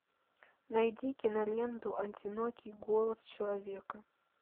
найди киноленту одинокий голос человека